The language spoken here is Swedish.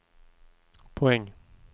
poäng